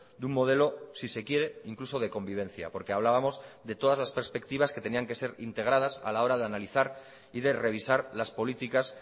de un modelo si se quiere incluso de convivencia porque hablábamos de todas las perspectivas que tenían que ser integradas a la hora de analizar y de revisar las políticas